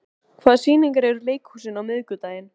Vigfús, hvaða sýningar eru í leikhúsinu á miðvikudaginn?